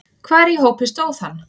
Hvar í hópi stóð hann?